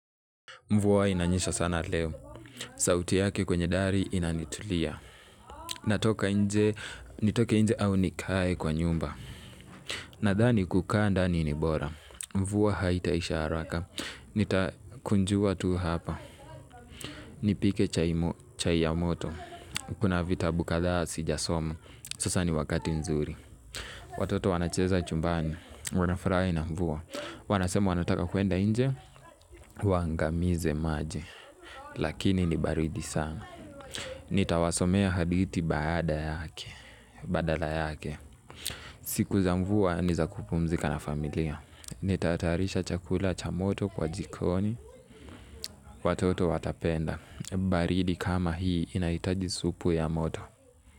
Mvua inanyesha sana leo, sauti yake kwenye dari inanitulia, natoka nje, nitoke nje au nikae kwa nyumba, nadhani kukaa ndani ni bora, mvua haitaisha haraka, nitakunjua tu hapa, nipike chai ya moto, kuna vitabu kadhaa sijasoma, sasa ni wakati nzuri. Watoto wanacheza chumbani, wanafurahi na mvua, wanasema wanataka kuenda nje, waangamize maji, lakini ni baridi sana. Nitawasomea hadithi badala yake, siku za mvua ni za kupumzika na familia, nitatayarisha chakula cha moto kwa jikoni, watoto watapenda, baridi kama hii inahitaji supu ya moto.